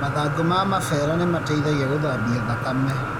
Mathangũ ma mabera nĩ mateithagia gũthambia thakame.